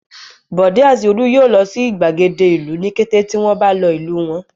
Bọ̀dé àti Olú yóò lọ sí ìgbàgede ìlú ní kété tí wọ́n bá lọ ìlú wọn.